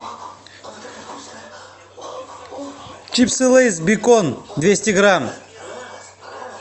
чипсы лейс бекон двести грамм